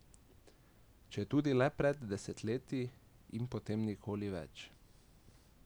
Četudi le pred desetletji in potem nikoli več.